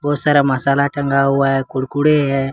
और सारा मसाला टंगा हुआ है कुड़कुड़े है।